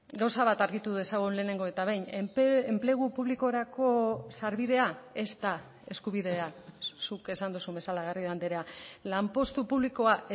gauza bat argitu dezagun lehenengo eta behin enplegu publikorako sarbidea ez da eskubidea zuk esan duzun bezala garrido andrea lanpostu publikoa